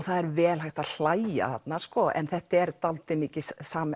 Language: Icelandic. það er vel hægt að hlæja þarna þetta er dálítið mikið